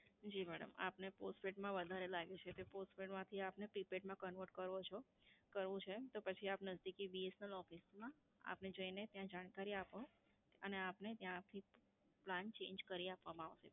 જી madam આપને postpaid માં વધારે લાગે છે એટલે postpaid માંથી આપને prepaid માં convert કરો છો, કરવું છે તો પછી આપને નઝદીકી BSNL office માં આપને જઈને ત્યાં જાણકારી આપો અને આપને ત્યાંથી plan change કરી આપવામાં આવશે.